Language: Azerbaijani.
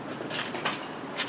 Yəqin ki, burdadır.